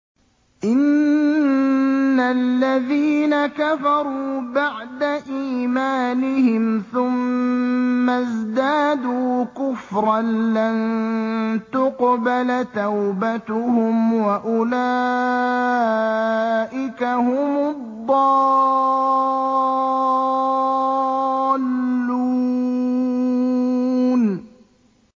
إِنَّ الَّذِينَ كَفَرُوا بَعْدَ إِيمَانِهِمْ ثُمَّ ازْدَادُوا كُفْرًا لَّن تُقْبَلَ تَوْبَتُهُمْ وَأُولَٰئِكَ هُمُ الضَّالُّونَ